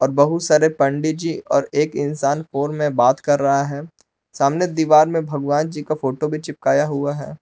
बहुत सारे पंडित जी और एक इंसान फोन में बात कर रहा है सामने दीवार में भगवान जी का फोटो भी चिपकाया हुआ है।